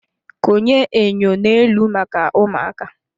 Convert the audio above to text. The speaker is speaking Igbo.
Konye enyo n'elu maka ụmụaka.